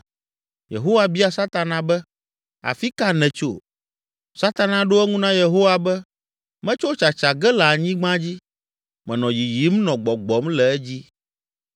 Yehowa bia Satana be, “Afi ka nètso?” Satana ɖo eŋu na Yehowa be, “Metso tsatsa ge le anyigba dzi, menɔ yiyim nɔ gbɔgbɔm le edzi.”